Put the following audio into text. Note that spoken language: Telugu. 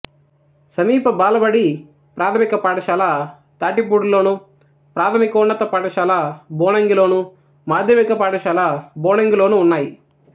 సమీప బాలబడి ప్రాథమిక పాఠశాల తాటిపూడిలోను ప్రాథమికోన్నత పాఠశాల బోనంగిలోను మాధ్యమిక పాఠశాల బోనంగిలోనూ ఉన్నాయి